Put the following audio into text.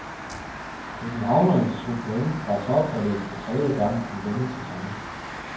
Københavnerne tog point fra topholdet for tredje gang i denne sæson.